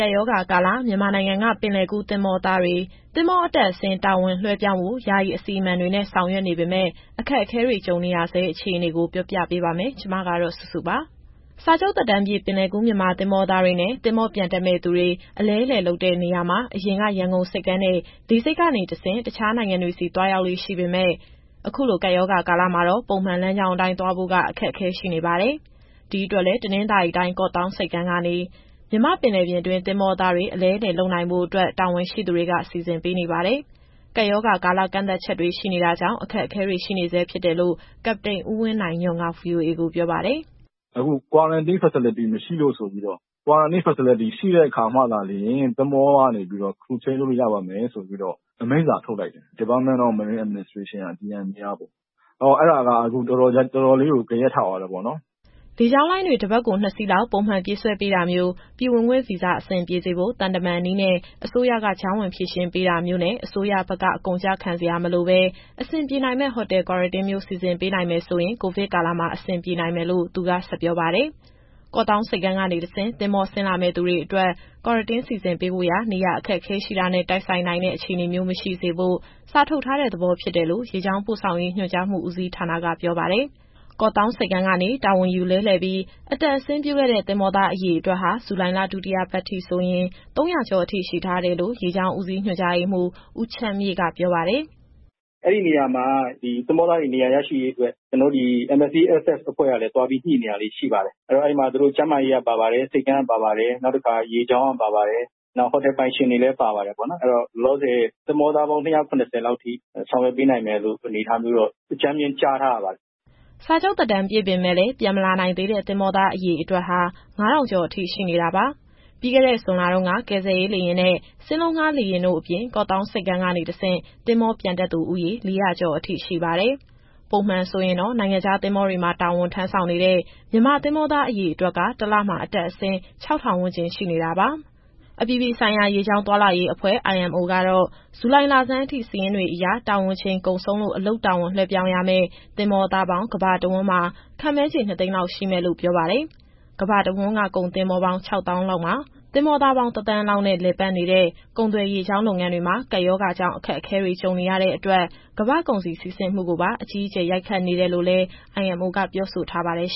ကပ်ရောဂါကာလ မြန်မာနိုင်ငံက ပင်လယ်ကူးသင်္ဘောသားတွေ သင်္ဘောအတက်အဆင်း တာဝန်လွှဲပြောင်းဖို့ ယာယီအစီအမံတွေနဲ့ ဆောင်ရွက်နေပေမယ့် အခက်အခဲတွေ ကြုံနေရဆဲ အခြေအနေကို ဗွီအိုအေမြန်မာပိုင်း သတင်းထောက်စုစုက ပြောပြပေးပါမယ်။ စာချုပ်သက်တမ်းပြည့် ပင်လယ်ကူးမြန်မာသင်္ဘောသားတွေနဲ့ သင်္ဘောပြန်တက်မယ့်သူတွေ အလဲအလှယ်လုပ်တဲ့နေရာမှာ အရင်က ရန်ကုန်ဆိပ်ကမ်းနဲ့ လေဆိပ်ကနေတဆင့် တခြားနိုင်ငံတွေဆီ သွားရောက်လေ့ရှိပေမဲ့ အခုလိုကပ်ရောဂါကာလမှာတော့ ပုံမှန်လမ်းကြောင်းအတိုင်း သွားဖို့က အခက်အခဲရှိနေပါတယ်။ ဒီအတွက်လည်း တနင်္သာရီတိုင်း ကော့သောင်းဆိပ်ကမ်းကနေ မြန်မာ့ပင်လယ်ပြင်တွင်း သင်္ဘောသားတွေ အလဲအလှယ်လုပ်နိုင်ဖို့လည်း တာဝန်ရှိသူတွေ စီစဉ်ပေးနေပါတယ်။ ကပ်ရောဂါကာလ ကန့်သတ်ချက်တွေ ရှိနေတာကြောင့် အခက်အခဲတွေ ရှိနေဆဲဖြစ်တယ်လို့ ကပ္ပတိန်ဦးဝင်းနိုင်ညွန့်က VOA ကိုပြောပါတယ်။ "အခု Quarantine Facility မရှိလို့ဆိုပြီးတော့ Q.F ရှိတဲ့အခါမှသာလျှင် သင်္ဘောကနေ Crew Change လုပ်လို့ရပါမယ်ဆိုပြီးတော့ အမိန့်စာထုတ်လိုက်တယ်။ Department of Marine Administration - DMA ကပေါ့။ အဲတော့ အဲဒါက အခုတော်တော်လေးကို ဂယက်ထသွားတယ်ပေါ့နော်။" လေကြောင်းလိုင်းတွေ တပတ်ကိုနှစ်စီးလောက် ပျံသန်းပြေးဆွဲပေးတာမျိုး၊ ပြည်ဝင်ခွင့်ဗီဇာ အဆင်ပြေစေဖို့ သံတမန်နည်းနဲ့ အစိုးရက ကြားဝင်ဖြေရှင်းပေးတာမျိုးနဲ့ အစိုးရဘက်က အကုန်ကျခံစရာမလိုဘဲ အဆင်ပြေနိုင်မယ့် Hotel Quarantine မျိုးစီစဉ်ပေးနိုင်မယ်ဆိုရင် ကိုဗစ်ကာလမှာ အဆင်ပြေနိုင်မယ်လို့ သူကဆက်ပြောပါတယ်။ ကော့သောင်းဆိပ်ကမ်းကနေတဆင့် သင်္ဘောဆင်းလာမယ့် သူတွေ အတွက် Quarantine စီစဉ်ပေးဖို့ရာ နေရာ အခက်အခဲရှိတာနဲ့ တိုက်ဆိုင်နိုင်တဲ့ အခြေအနေမျိုးမရှိစေဖို့ စာထုတ်ထားတဲ့သဘောဖြစ်တယ်လို့ ရေကြောင်းပို့ဆောင်ရေး ညွှန်ကြားမှုဦးစီးဌာနက ပြောပါတယ်။ ကော့သောင်းဆိပ်ကမ်းကနေ တာဝန်ယူလဲလှယ်ပြီး အတက်အဆင်းပြုခဲ့တဲ့ သင်္ဘောသား အရေအတွက်ဟာ ဇူလိုင်လ ဒုတိယပတ်ထိဆိုရင် ၃၀၀ ကျော်အထိရှိထားတယ်လို့ ရေကြောင်းဦးစီး ညွှန်ကြားရေးမှူး ဦးချမ်းမြေ့က ပြောပါတယ်။ "အဲဒီနေရာမှာ သင်္ဘောသားတွေနေရာရရှိရေးအတွက် MSESF (Myanmar Seafarer Employment Services Federation) အဖွဲ့ကလည်း သွားပြီး ညှိနေတာရှိပါတယ်။ အဲဒီမှာ ကျန်းမာရေး၊ ဆိပ်ကမ်း၊ ရေကြောင်း တာဝန်ရှိသူတွေနဲ့ ဟိုတယ်ပိုင်ရှင်တွေပါတယ်။ အဲတော့ လောလောဆယ် သင်္ဘောသားပေါင်း ၂၇၀ လောက်ထိ ဆောင်ရွက်ပေးနိုင်မယ့် အနေအထားမျိုးတော့ အကြမ်းဖျဉ်း ကြားထားရပါတယ်။" စာချုပ်သက်တမ်းပြည့်ပေမယ့်လည်း ပြန်မလာနိုင်သေးတဲ့ သင်္ဘောသားအရေအတွက်ဟာ ၅,၀၀၀ ကျော်အထိ ရှိနေတာပါ။ ပြီးခဲ့တဲ့ ဇွန်လတုန်းက ကယ်ဆယ်ရေးလေယာဉ်နဲ့ စင်းလုံးငှား လေယာဉ်တို့အပြင် ကော့သောင်းဆိပ်ကမ်းကနေ တဆင့် သင်္ဘောပြန်တက်သူဦးရေ ၄၀၀ ကျော်အထိရှိပါတယ်။ ပုံမှန်ဆိုရင်တော့ နိုင်ငံခြားသင်္ဘောတွေမှာ တာဝန်ထမ်းဆောင်နေတဲ့ မြန်မာသင်္ဘောသားအရေအတွက်က တလမှာ အတက်အဆင်း ၆,၀၀၀ ဝန်းကျင်ရှိနေတာပါ။ အပြည်ပြည်ဆိုင်ရာ ရေကြောင်းသွားလာရေးအဖွဲ့ (IMO) ကတော့ ဇူလိုင်လဆန်းအထိ စာရင်းတွေအရ တာဝန်ချိန်ကုန်ဆုံးလို့ အလုပ်တာဝန် လွဲှပြောင်းရမယ့် သင်္ဘောသားပေါင်း ကမ္ဘာတဝန်းမှာ ခန့်မှန်းချေ ၂ သိန်းလောက် ရှိမယ်လို့ ပြောပါတယ်။ ကမ္ဘာတဝန်းက ကုန်သင်္ဘောပေါင်း ၆ သောင်းလောက်မှာ သင်္ဘောသားပေါင်း ၁ သန်းလောက်နဲ့ လည်ပတ်နေတဲ့ ကုန်သွယ်ရေကြောင်း လုပ်ငန်းတွေမှာ ကပ်ရောဂါကြောင့် အခက်အခဲတွေ ကြုံနေရတဲ့အတွက် ကမ္ဘာ့ကုန်စည်စီးဆင်းမှုကိုပါ အကြီးအကျယ် ရိုက်ခတ်နေတယ်လို့လည်း IMO ကပြောဆိုထားပါတယ်။